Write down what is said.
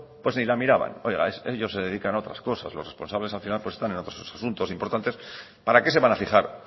pues ni la miraba ellos se dedican a otras cosas los responsables al final están en otros asuntos importantes para qué se van a fijar